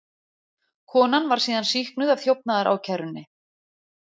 Konan var síðan sýknuð af þjófnaðarákærunni